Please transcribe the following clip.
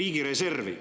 riigireservi.